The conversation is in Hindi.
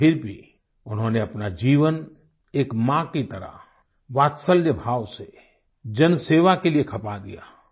लेकिन फिर भी उन्होंने अपना जीवन एक माँ की तरह वात्सल्य भाव से जनसेवा के लिए खपा दिया